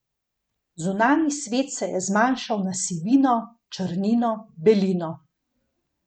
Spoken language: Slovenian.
Zunanji svet se je zmanjšal na sivino, črnino, belino.